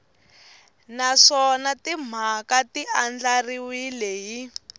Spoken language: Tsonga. naswona timhaka ti andlariwile hi